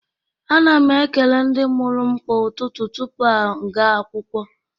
Ana m ekele ndị mụrụ m kwa ụtụtụ tupu m aga akwụkwọ